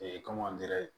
kɔngɔ delira